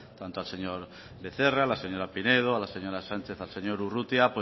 tanto al señor becerra a la señora pinedo a la señora sánchez al señor urrutia